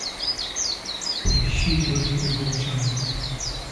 поищи дольфи волчонок